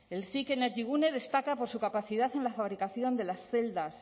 el cic energigune destaca por su capacidad en la fabricación de las celdas